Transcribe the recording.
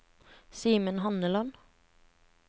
Simen Handeland